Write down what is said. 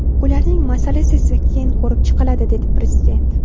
Ularning masalasi esa keyin ko‘rib chiqiladi”, – dedi Prezident.